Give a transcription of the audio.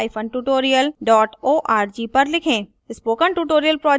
spoken tutorial project talktoa teacher project का हिस्सा है